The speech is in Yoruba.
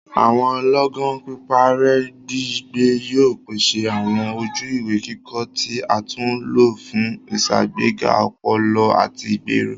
Awọn lọọgan piparẹ-gbigbẹ yóò pèsè awọn ojú-ìwé kíkọ tí a tún lo fún iṣagbega ọpọlọ ati igbero.